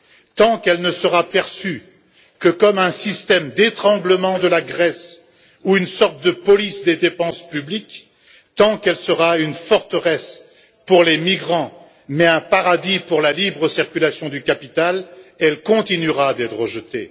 Tant qu'elle ne sera perçue que comme un système d'étranglement de la Grèce ou une sorte de police des dépenses publiques, tant qu'elle sera une forteresse pour les migrants, mais un paradis pour la libre circulation du capital, elle continuera d'être rejetée.